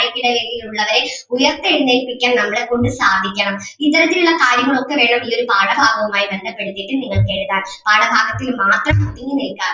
താഴേക്കിടയിൽ ഉള്ളവരെ ഉയർത്തെഴുന്നേൽപ്പിക്കാൻ നമ്മളെ കൊണ്ട് സാധിക്കണം. ഇത്തരത്തിൽ ഉള്ള കാര്യങ്ങൾ ഒക്കെ വേണം ഈ ഒരു പാഠഭാഗവുമായി ബന്ധപ്പെടുത്തിയിട്ട് നിങ്ങൾക്ക് എഴുതാം, പാഠഭാഗത്തിൽ മാത്രം ഒതുങ്ങി നിൽക്കാതെ